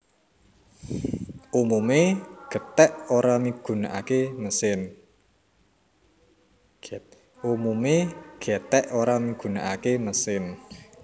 Umumé gèthèk ora migunaké mesin